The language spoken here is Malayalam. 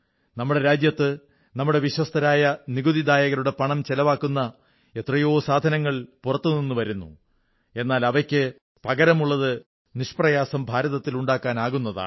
നമ്മുടെ രാജ്യത്ത് നമ്മുടെ വിശ്വസ്തരായ നികുതിദാതാക്കളുടെ പണം ചിലവാകുന്ന എത്രയോ സാധനങ്ങൾ പുറത്തുനിന്നുവരുന്നു എന്നാൽ അവയ്ക്കു പകരമുള്ളത് നിഷ്പ്രയാസം ഭാരതത്തിൽ ഉണ്ടാക്കാൻ ആകുന്നതാണ്